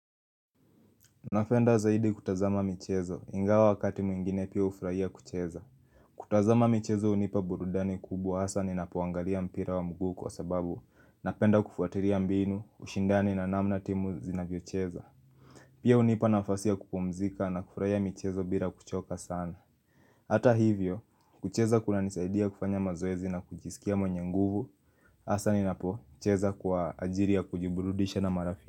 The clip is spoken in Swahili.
Nafenda zaidi kutazama michezo, ingawa wakati mwingine pia ufraia kucheza kutazama michezo unipa burudani kubwa, hasa ninapoangalia mpira wa mguu kwa sababu Napenda kufuatiria mbinu, ushindani na namna timu inavyocheza Pia unipa nafasi ya kupumzika na kufraia michezo bila kuchoka sana Hata hivyo, kucheza kuna nisaidia kufanya mazoezi na kujisikia mwenye nguvu Hasa ninapo, cheza kwa ajiri ya kujiburudisha na marafiki.